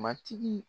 Matigi